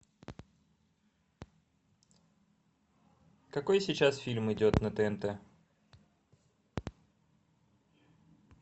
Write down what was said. какой сейчас фильм идет на тнт